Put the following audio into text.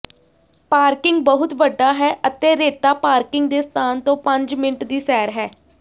parking ਬਹੁਤ ਵੱਡਾ ਹੈ ਅਤੇ ਰੇਤਾ ਪਾਰਕਿੰਗ ਦੇ ਸਥਾਨ ਤੋਂ ਪੰਜ ਮਿੰਟ ਦੀ ਸੈਰ ਹੈ